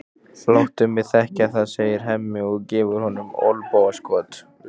Láttu mig þekkja það, segir Hemmi og gefur honum olnbogaskot.